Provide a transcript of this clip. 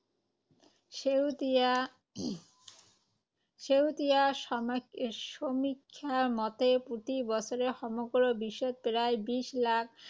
শেহতীয়া শেহতীয়া সম, সমীক্ষা মতে, প্ৰতি বছৰে সমগ্ৰ বিশ্বত প্ৰায় বিশ লাখ